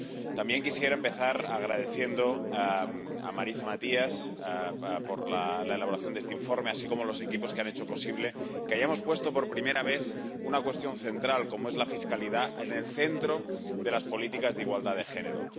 También quisiera empezar expresando mi agradecimiento a Marisa Matias por la elaboración de este informe, así como a los equipos que han hecho posible que hayamos puesto, por primera vez, una cuestión central, como es la fiscalidad, en el centro de las políticas de igualdad de género.